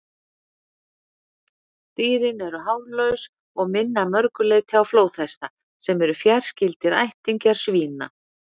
Dýrin eru hárlaus og minna að mörgu leyti á flóðhesta, sem eru fjarskyldir ættingjar svína.